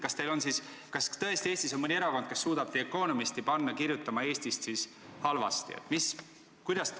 Kas tõesti on Eestis mõni erakond, kes suudab The Economisti panna kirjutama Eestist halvasti?